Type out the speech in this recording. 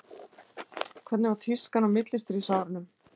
hvernig var tískan á millistríðsárunum